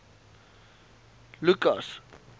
lukas